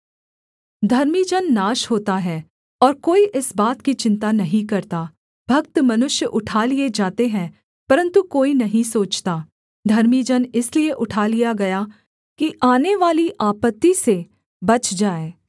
धर्मी जन नाश होता है और कोई इस बात की चिन्ता नहीं करता भक्त मनुष्य उठा लिए जाते हैं परन्तु कोई नहीं सोचता धर्मी जन इसलिए उठा लिया गया कि आनेवाली आपत्ति से बच जाए